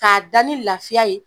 K'a da ni lafiya ye